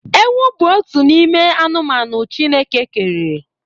Ewu bụ otu n'ime anụmanụ Chineke kere.